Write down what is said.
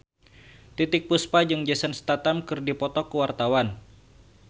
Titiek Puspa jeung Jason Statham keur dipoto ku wartawan